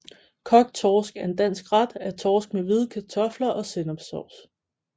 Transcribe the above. Kogt torsk er en dansk ret af torsk med hvide kartofler og sennepssovs